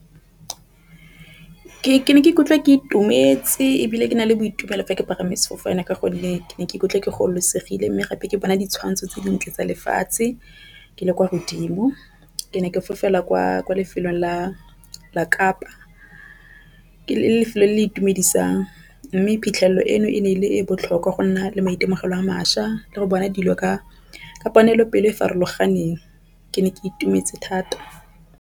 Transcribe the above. Ke ne ke ikutlwa ke itumetse ebile ke na le boitumelo fa ke palame sefofane, ka gonne ke ne ka ikutlwa ke gololosegile, mme gape ke bona ditshwantsho tse dintle tsa lefatshe. Ke le kwa godimo ke ne ke fofela kwa lefelong la Kapa ke lefelo le le itumedisang mme phitlhelelo eno e ne e le e botlhokwa go nna le maitemogelo a mašwa le go bona dilo ka kopanelo pelo e e farologaneng ke ne ke itumetse thata.